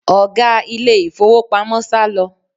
Ọ̀gá ilé ìfowópamọ́ sálọ